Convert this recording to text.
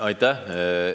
Aitäh!